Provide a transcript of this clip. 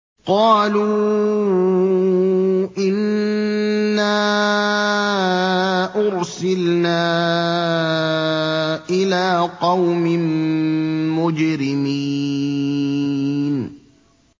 قَالُوا إِنَّا أُرْسِلْنَا إِلَىٰ قَوْمٍ مُّجْرِمِينَ